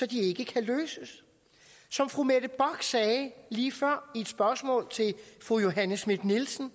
de ikke kan løses som fru mette bock sagde lige før i et spørgsmål til fru johanne schmidt nielsen